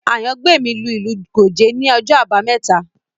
Àyàngbèmí lu ìlù Gòge ní ọjọ́ àbámẹ́ta